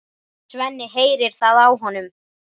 Svenni heyrir það á honum.